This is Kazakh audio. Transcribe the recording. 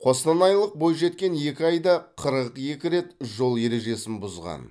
қостанайлық бойжеткен екі айда қырық екі рет жол ережесін бұзған